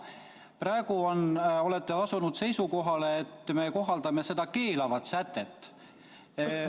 Praegu olete asunud seisukohale, et me kohaldame seda välistavat sätet.